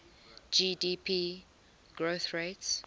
gdp growth rates